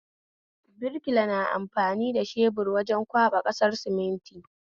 Birkila na amfani shebur wajen kwaɓa ƙasar suminti